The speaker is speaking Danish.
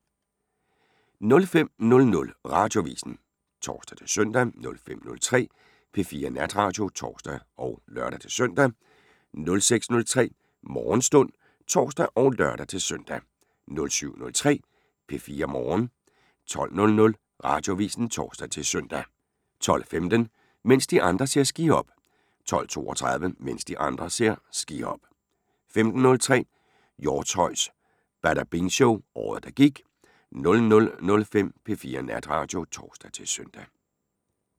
05:00: Radioavisen (tor-søn) 05:03: P4 Natradio (tor og lør-søn) 06:03: Morgenstund (tor og lør-søn) 07:03: P4 Morgen 12:00: Radioavisen (tor-søn) 12:15: Mens de andre ser skihop 12:32: Mens de andre ser skihop 15:03: Hjortshøjs Badabing Show – året der gik 00:05: P4 Natradio (tor-søn)